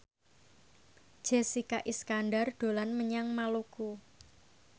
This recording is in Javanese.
Jessica Iskandar dolan menyang Maluku